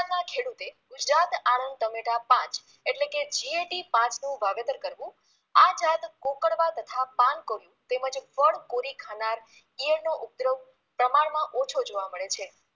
ના ખેડુતે ગુજરાત આણંદ ટમેટા પાંચ એટલે કે GAT પાંચનું વાવેતર કરવુ આ જાત કોકરવા તથા પાનકોરી તેમજ પડ કોરી ખાનાર ઈયળનો ઉપદ્રવ પ્રમાણમાં ઓછો જોવા મળે છે